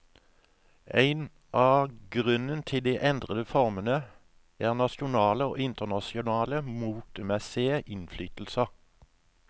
En annen grunn til de endrede formene er nasjonale og internasjonale motemessige innflytelser.